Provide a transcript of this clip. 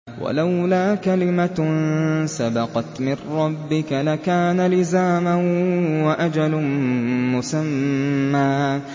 وَلَوْلَا كَلِمَةٌ سَبَقَتْ مِن رَّبِّكَ لَكَانَ لِزَامًا وَأَجَلٌ مُّسَمًّى